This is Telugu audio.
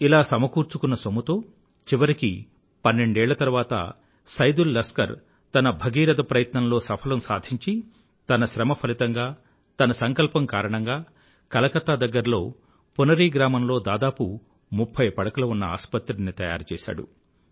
ఇలా సమకూర్చుకున్న సొమ్ముతో చివరికి పన్నెండేళ్ల తరువాత సైదుల్ లస్కర్ తన బగీరథ ప్రయత్నంలో సఫలం సాధించి తన శ్రమ ఫలితంగా తన సంకల్పం కారణంగా కలకత్తా దగ్గరలో పునరీ గ్రామంలో దాదాపు ముఫ్ఫై పడకలు ఉన్న ఆసుపత్రిని తయారుచేసాడు